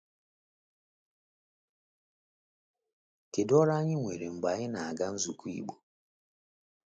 Kedu ọrụ anyị nwere mgbe anyị na-aga nzukọ Igbo?